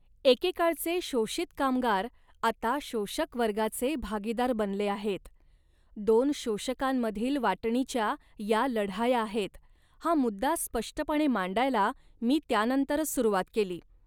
एकेकाळचे शोषित कामगार आता शोषक वर्गाचे भागीदार बनले आहेत. दोन शोषकांमधील वाटणीच्या या लढाया आहेत हा मुद्दा स्पष्टपणे मांडायला मी त्यानंतरच सुरवात केली